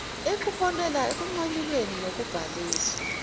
eliholele ekunqanyulweni kokubhalisa